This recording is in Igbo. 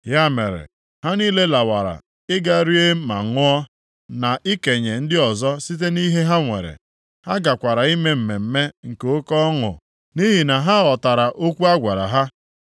Ya mere, ha niile lawara ị ga rie ma ṅụọ, na ikenye ndị ọzọ site nʼihe ha nwere. Ha gakwara ime mmemme nke oke ọṅụ, nʼihi na ha ghọtara okwu agwara ha.